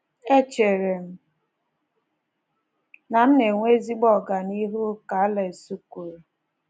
“Echere m na m na-enwe ezigbo ọganihu, ”ka Alex kwuru"